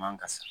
Man ka san